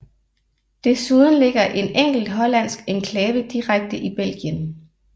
Desuden ligger en enkelt hollandsk enklave direkte i Belgien